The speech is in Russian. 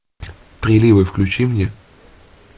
приливы включи мне